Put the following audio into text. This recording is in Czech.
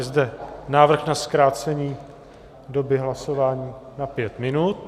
Je zde návrh na zkrácení doby hlasování na pět minut.